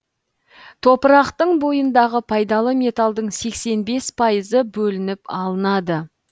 топырақтың бойындағы пайдалы металдың сексен бес пайызы бөлініп алынады